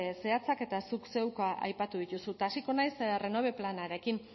zehatzak eta zuk zeuk aipatu dituzu eta hasiko naiz renove planarekin